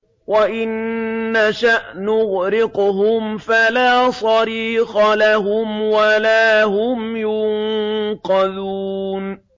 وَإِن نَّشَأْ نُغْرِقْهُمْ فَلَا صَرِيخَ لَهُمْ وَلَا هُمْ يُنقَذُونَ